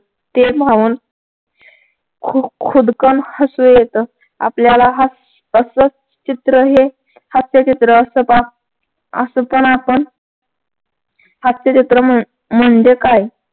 ते पाहून खुद खुदकन् हसू येतं. आपल्याला हास्यअसं चित्र हे हास्यचित्र असत पहा असं पण आपण हास्य जत्रा म्हणजे काय